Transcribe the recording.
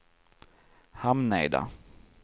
Hamneda